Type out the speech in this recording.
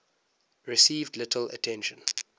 received little attention